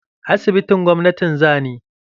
Asibitin gwamnati za ni.